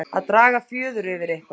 Að draga fjöður yfir eitthvað